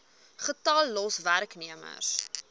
getal los werknemers